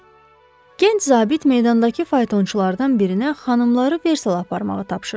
Gənc zabit meydandakı faytonçulardan birinə xanımları Versala aparmağı tapşırdı.